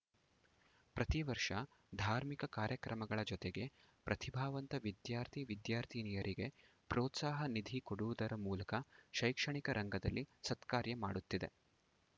ಪ್ರತಿ ವರ್ಷ ಧಾರ್ಮಿಕ ಕಾರ್ಯಕ್ರಮಗಳ ಜೊತೆಗೆ ಪ್ರತಿಭಾವಂತ ವಿದ್ಯಾರ್ಥಿ ವಿದ್ಯಾರ್ಥಿನಿಯರಿಗೆ ಪ್ರೋತ್ಸಾಹ ನಿಧಿ ಕೊಡುವುದರ ಮೂಲಕ ಶೈಕ್ಷಣಿಕ ರಂಗದಲ್ಲಿ ಸತ್ಕಾರ್ಯ ಮಾಡುತ್ತಿದೆ